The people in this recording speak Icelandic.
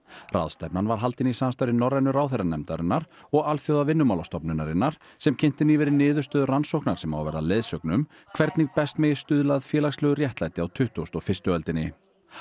ráðstefnan var haldin í samstarfi Norrænu ráðherranefndarinnar og Alþjóðavinnumálastofnunarinnar sem kynnti nýverið niðurstöður rannsóknar sem á að verða leiðsögn um hvernig best megi stuðla að félagslegu réttlæti á tuttugustu og fyrstu öldinni